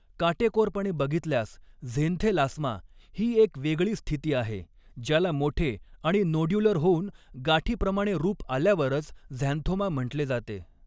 काटेकोरपणे बघितल्यास, झेंथेलास्मा ही एक वेगळी स्थिती आहे, ज्याला मोठे आणि नोड्युलर होऊन गाठीप्रमाणे रूप आल्यावरच झॅन्थोमा म्हटले जाते.